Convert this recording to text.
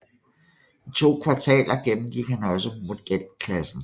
I to kvartaler gennemgik han også modelklassen